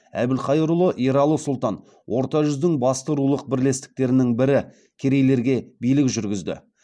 әбілқайыр ұлы ералы сұлтан орта жүздің басты рулық бірлестіктерінің бірі керейлерге билік жүргізді